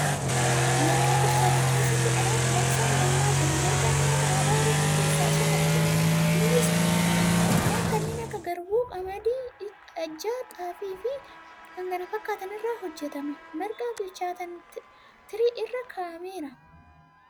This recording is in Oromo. Marqaa bilchaate keessatti dhadhaa bqasaan nammaa jira. Marqaan nyaata aadaa Oromoo keessa isa tokko .Innis midhaa kanneen akka garbuu, qamadii ajjaa fi xaafii irraa hojjatama. Marqaa bilchaataan tirii irra kaa'ameera.